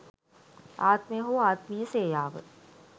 ආත්මය හෝ ආත්මීය සේයාව,